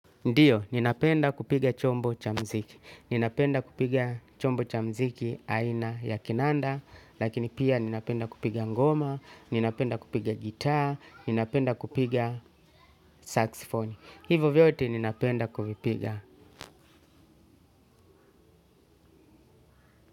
Ndiyo, ninapenda kupiga chombo cha mziki. Ninapenda kupiga chombo cha mziki aina ya kinanda, lakini pia ninapenda kupiga ngoma, ninapenda kupiga gitar, ninapenda kupiga saxifony. Hivo vyote ninapenda kuvipiga.